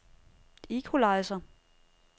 equalizer